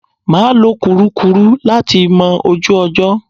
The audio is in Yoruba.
Mà á lo kùrukùru láti mọ ojú ọjọ́.